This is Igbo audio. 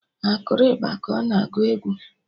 Ha akụrụ ịgba ka ọ na agụ egwu?